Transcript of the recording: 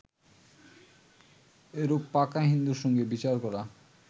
এরূপ পাকা হিন্দুর সঙ্গে বিচার করা